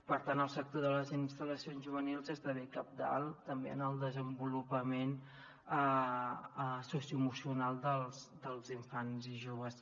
per tant el sector de les instal·lacions juvenils esdevé cabdal també en el desenvolupament socioemocional dels infants i joves